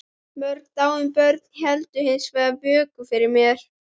Mörg dáin börn héldu hins vegar vöku fyrir mér.